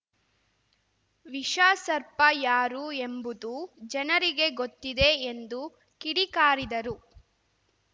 ವಿಷ ಸರ್ಪ ಯಾರು ಎಂಬುದು ಜನರಿಗೆ ಗೊತ್ತಿದೆ ಎಂದು ಕಿಡಿಕಾರಿದರು